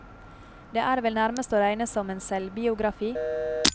Det er vel nærmest å regne som en selvbiografi?